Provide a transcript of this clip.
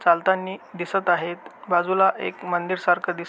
चालतानी दिसत आहेत बाजूला एक मंदिर सारख दिसत--